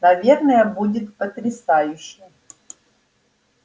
наверное будет потрясающе